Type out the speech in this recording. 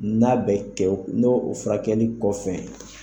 N'a bɛ kɛ n'o furakɛli kɔfɛ.